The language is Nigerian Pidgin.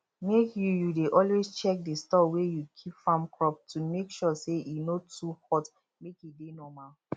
make you you dey always check the store wey you keep farm crop to make sure say e no too hot make e dey normal